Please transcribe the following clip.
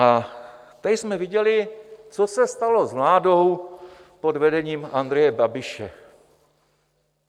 A tady jsme viděli, co se stalo s vládou pod vedením Andreje Babiše.